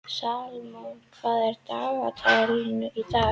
Salome, hvað er á dagatalinu í dag?